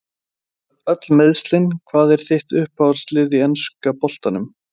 Öll meiðslin Hvað er þitt uppáhalds lið í enska boltanum?